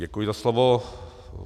Děkuji za slovo.